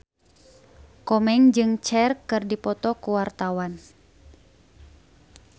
Komeng jeung Cher keur dipoto ku wartawan